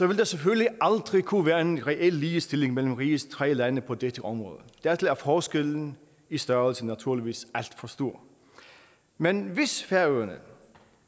vil der selvfølgelig aldrig kunne være en reel ligestilling mellem rigets tre lande på dette område dertil er forskellen i størrelse naturligvis alt for stor men hvis færøerne